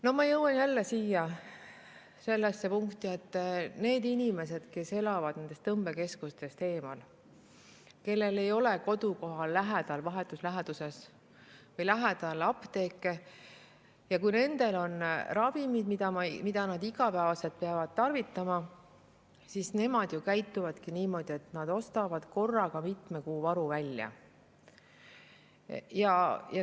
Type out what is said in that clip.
No ma jõuan jälle sellesse punkti, et need inimesed, kes elavad tõmbekeskustest eemal ja kellel ei ole kodukoha vahetus läheduses apteeki, käituvadki niimoodi, et kui nendel on ravimid, mida nad igapäevaselt peavad tarvitama, siis nad ostavad korraga mitme kuu varu välja.